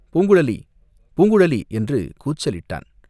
"பூங்குழலி பூங்குழலி!" என்று கூச்சலிட்டான்.